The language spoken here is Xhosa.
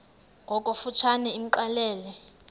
ngokofu tshane imxelele